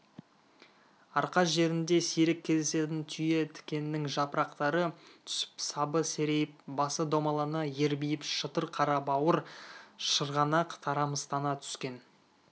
арқа жерінде сирек кездесетін түйе тікеннің жапырақтары түсіп сабы серейіп басы домалана ербиіп шытыр қарабауыр шырғанақ тарамыстана түскен